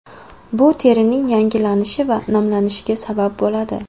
Bu terining yangilanishi va namlanishiga sabab bo‘ladi.